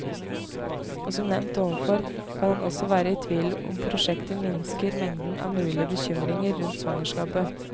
Og som nevnt ovenfor, kan en også være i tvil om prosjektet minsker mengden av mulige bekymringer rundt svangerskapet.